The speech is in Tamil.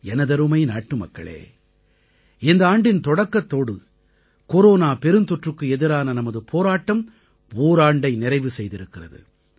எனதருமை நாட்டுமக்களே இந்த ஆண்டின் தொடக்கத்தோடு கொரோனா பெருந்தொற்றுக்கு எதிரான நமது போராட்டம் ஓராண்டை நிறைவு செய்திருக்கிறது